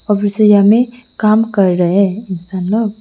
और में काम कर रहे हैं इंसान लोग।